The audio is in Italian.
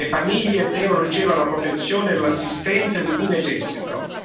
Le famiglie devono ricevere la protezione e l'assistenza di cui necessitano.